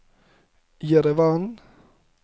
Jerevan